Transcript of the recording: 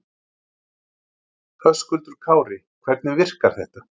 Höskuldur Kári: Hvernig virkar þetta?